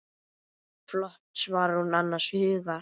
Flott, svarar hún annars hugar.